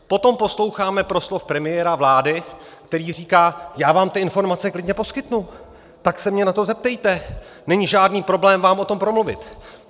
Potom posloucháme proslov premiéra vlády, který říká: já vám ty informace klidně poskytnu, tak se mě na to zeptejte, není žádný problém vám o tom promluvit.